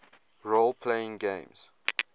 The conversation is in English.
role playing games